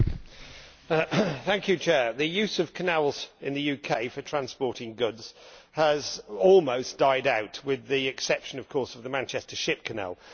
Madam President, the use of canals in the UK for transporting goods has almost died out, with the exception of course of the Manchester Ship Canal.